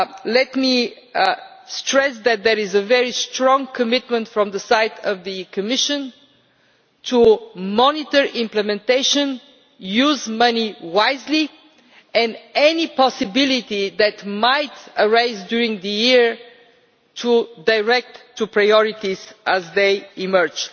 Let me stress that there is a very strong commitment on the side of the Commission to monitor implementation, use money wisely and any possibility that might arise during the year to direct to priorities as they emerge.